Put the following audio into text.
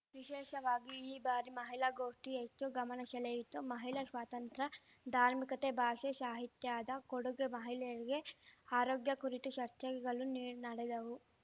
ವಿಶೇಷವಾಗಿ ಈ ಬಾರಿ ಮಹಿಳಾ ಗೋಷ್ಠಿ ಹೆಚ್ಚು ಗಮನ ಶೆಳೆಯಿತು ಮಹಿಳಾ ಶ್ವಾತಂತ್ರ್ಯ ಧಾರ್ಮಿಕತೆ ಭಾಷೆ ಶಾಹಿತ್ಯದ ಕೊಡುಗೆ ಮಹಿಳೆಯರಿಗೆ ಆರೋಗ್ಯ ಕುರಿತು ಚರ್ಚೆಗಳು ನೀ ನಡೆದವು